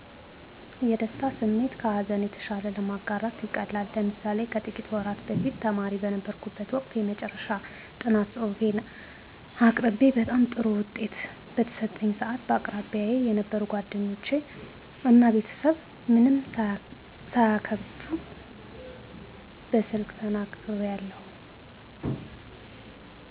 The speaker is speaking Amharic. የደስታ ስሜት ከሀዘን የተሻለ ለማጋራት ይቀላል። ለምሳሌ ከጥቂት ወራት በፊት ተማሪ በነበርኩበት ወቅት የመጨረሻ ጥናት ፅሁፌን አቅቤ በጣም ጥሩ ውጤት በተሰጠኝ ሰአት በአቅራቢያየ የነበሩ ጓደኞች እና ቤተሰብ ምንም ሳይከብደኝ በስልክ ተናግሪያለሁ።